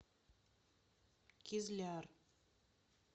кизляр